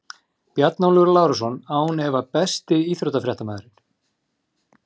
Bjarnólfur Lárusson án vafa Besti íþróttafréttamaðurinn?